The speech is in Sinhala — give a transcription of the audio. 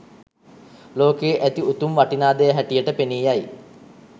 ලෝකයේ ඇති උතුම් වටිනා දෙය හැටියට පෙනී යයි.